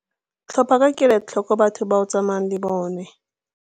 Tlhopha ka kelotlhoko batho ba o tsalanang le bona.